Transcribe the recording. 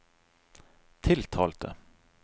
tiltalte